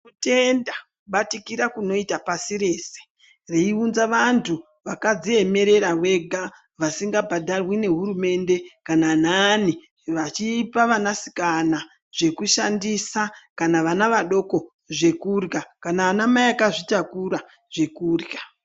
Kutenda kubatikira kunoita pasi rese, reiunza vantu vakadziemerera vega, vasingabhadharwi nehurumende kana anani vachipa vanasikana zvekushandisa, kana vana vadoko zvekurya, kana anamai akazvitakura zvekurya.